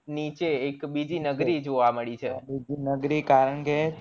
નીચે એક બીજી નગરી જોવા મળી છે